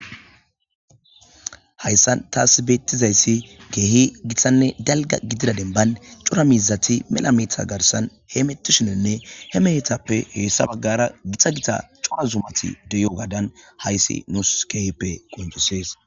hayssan taas beettizayssi keehi githanne dalga gidira denban cura mizati mela mita garsan he metishinenne he mehethappe heessa baggara githa gita coa zumati deyo gaadan hayssi nus keehippe qoncissees